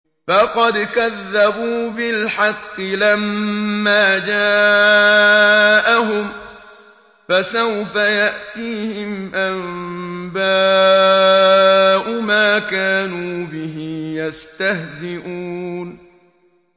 فَقَدْ كَذَّبُوا بِالْحَقِّ لَمَّا جَاءَهُمْ ۖ فَسَوْفَ يَأْتِيهِمْ أَنبَاءُ مَا كَانُوا بِهِ يَسْتَهْزِئُونَ